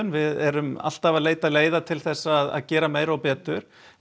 við erum alltaf að leita leiða til að gera meira og betur